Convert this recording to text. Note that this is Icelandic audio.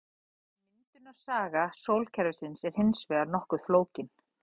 Myndunarsaga sólkerfisins er hins vegar nokkuð flókin.